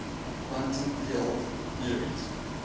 quantum field theories